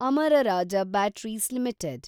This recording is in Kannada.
Amara Raja batteries limited